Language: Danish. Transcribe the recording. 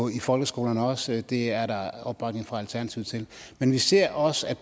i folkeskolerne også det er der opbakning fra alternativet til men vi ser også at